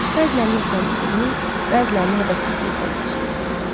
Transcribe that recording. Bəzilərini oxuyanda gülür, bəzilərini həvəssiz gözdən keçirirdi.